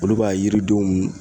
Olu b'a yiridenw